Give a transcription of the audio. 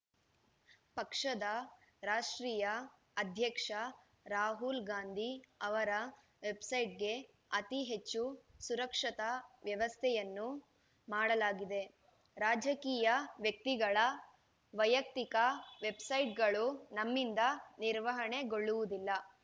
ಪಕ್ಷದ ರಾಷ್ಟ್ರೀಯ ಅಧ್ಯಕ್ಷ ರಾಹುಲ್‌ಗಾಂಧಿ ಅವರ ವೆಬ್‌ಸೈಟ್‌ಗೆ ಅತಿ ಹೆಚ್ಚು ಸುರಕ್ಷತಾ ವ್ಯವಸ್ಥೆಯನ್ನು ಮಾಡಲಾಗಿದೆ ರಾಜಕೀಯ ವ್ಯಕ್ತಿಗಳ ವೈಯಕ್ತಿಕ ವೆಬ್‌ಸೈಟ್‌ಗಳು ನಮ್ಮಿಂದ ನಿರ್ವಹಣೆಗೊಳ್ಳುವುದಿಲ್ಲ